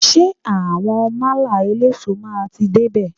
Ṣé àwọn málà eléso máa ti dé bè?